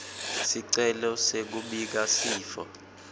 sicelo sekubika sifo